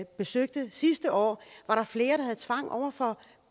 besøgte sidste år var der flere der havde tvang over for